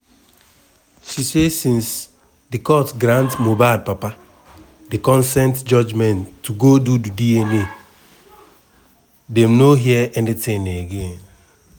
she say since di court grant mohbad papa di consent judgement to go do di dna dem no hear anytin again.